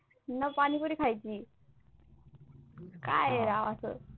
न पाणीपुरी खायची काय राव असं